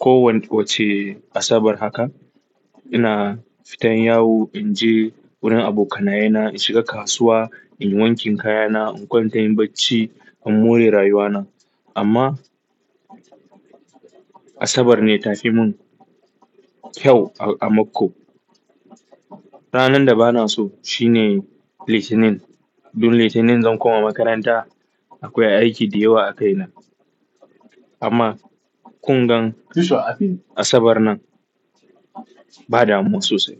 kowacce Asabar haka ina fitan yawo, in je wurin abokanai na in shiga kasuwa, in wankin kayana, in kwanta in yin bacci in more rayuwana. Amma Asabar ne ta fi min kyau a mako. Ranar da bana so shi ne Litinin. Duk Litinin zan kuma makaranta akwai aiki da yawa a kai na. Amma kun gan Asabar nan ba damuwa sosai.